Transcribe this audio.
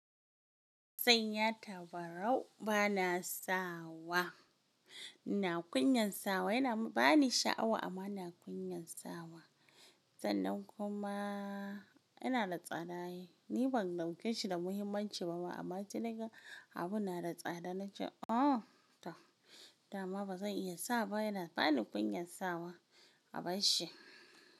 Zan yata ba rau bana sawa. Ina kunyan sawa yana ba ni sha'awa amma ina kunyan sawa. Sannan kumaa ina da tsada ai. Ni ban dauke shi da muhimmanci ba ma amma sai naga abun na da tsada na ce “oh tau!” dama ba zan iya sawa ba yana bani kunyan sawa. A bar shi.